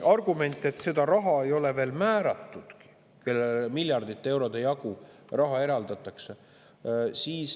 Argument on, et seda raha ei ole veel määratud –, kellele miljardite eurode jagu raha eraldatakse.